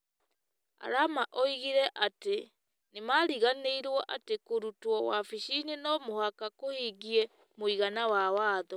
Arama oigire atĩ nĩ maariganĩirũo atĩ kũrutwo wabici-inĩ no mũhaka kũhingie mũigana wa Watho.